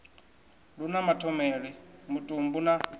lu na mathomele mutumbu na